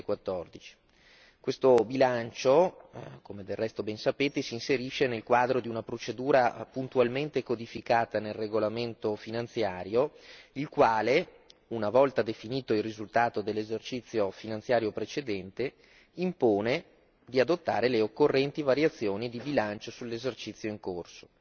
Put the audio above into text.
2014. Questo bilancio, come del resto ben sapete, si inserisce nel quadro di una procedura puntualmente codificata nel regolamento finanziario, il quale una volta definito il risultato dell'esercizio finanziario precedente, impone di adottare le occorrenti variazioni di bilancio sull'esercizio in corso.